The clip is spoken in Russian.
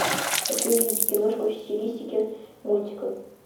хочу увидеть киношку в стилистике мультика